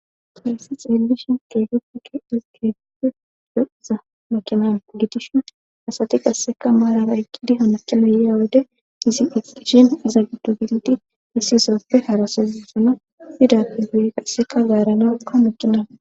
Phayssi xeelishin keegetike hisi geegife yoiza makimaan gitishin asati qasseka maarara eqqidi hanaqina yeya wode izi eqqishin iza gido gildi issi zooppe harasazisona fidappi guiri qasseka gaaranakka maqiman